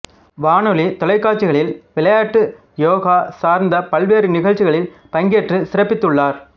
வானொலி தொலைக்காட்சிகளில் விளையாட்டு யோகா சார்ந்த பல்வேறு நிகழ்ச்சிகளில் பங்கேற்றுச் சிறப்பித்துள்ளார்